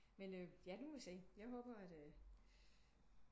Men ja nu må vi se jeg håber at